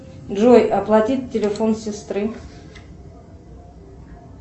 джой оплатить телефон сестры